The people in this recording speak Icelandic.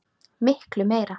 Miklu meira.